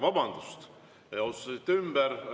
Vabandust, te otsustasite ümber!